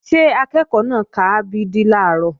Ṣé akẹ́ẹ̀kọ́ náà ka a b d làárọ̀?